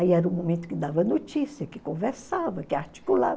Aí era o momento que dava notícia, que conversava, que articulava.